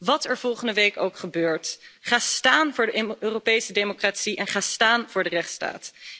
Wat er volgende week ook gebeurt, ga staan voor de Europese democratie en ga staan voor de rechtsstaat.